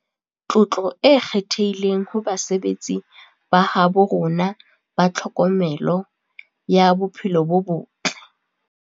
Tlotlo e kgethehileng ho basebetsi ba habo rona ba tlhokomelo ya bophelo bo botle.